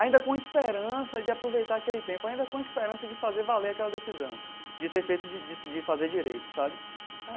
Ainda com esperança de aproveitar aquele tempo, ainda com esperança de fazer valer aquela decisão, de ter feito, de de de fazer direito, sabe?